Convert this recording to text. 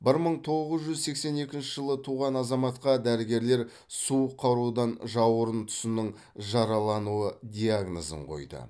бір мың тоғыз жүз сексен екінші жылы туған азаматқа дәрігерлер суық қарудан жауырын тұсының жаралануы диагнозын қойды